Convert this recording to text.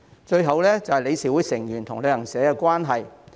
最後，是理事會成員與旅行社的關係問題。